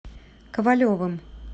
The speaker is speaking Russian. ковалевым